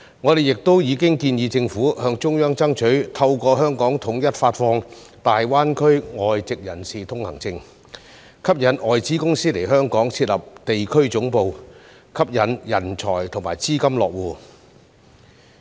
我們亦已建議政府向中央爭取透過香港統一發放大灣區外籍人才通行證，吸引外資公司來港設立地區總部，吸引人才和資金落戶。